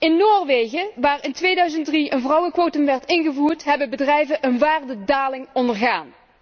In Noorwegen waar in 2003 een vrouwenquotum werd ingevoerd, hebben bedrijven een waardedaling ondergaan.